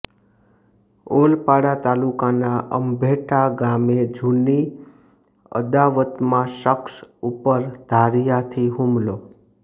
ઓલપાડ તાલુકાના અંભેટા ગામે જૂની અદાવતમાં શખ્સ ઉપર ધારિયાથી હુમલો